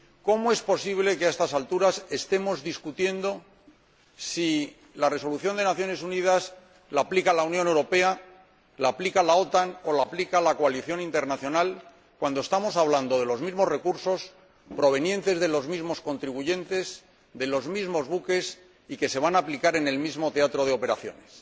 ¿Cómo es posible que, a estas alturas, estemos discutiendo si la resolución de las Naciones Unidas la aplica la Unión Europea, la aplica la OTAN o la aplica la coalición internacional, cuando estamos hablando de los mismos recursos provenientes de los mismos contribuyentes, de los mismos buques y de su aplicación en el mismo teatro de operaciones?